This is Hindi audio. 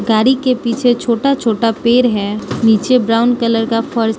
गाड़ी के पीछे छोटा छोटा पेर है नीचे ब्राउन कलर का फर्श --